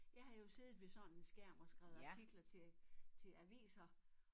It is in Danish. Jeg har jo siddet ved sådan en skærm og skrevet artikler til til aviser